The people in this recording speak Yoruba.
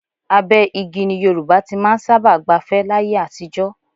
Abẹ́ igi ni Yorùbá ti máa ń sábà gbafẹ́ láyé àtijọ́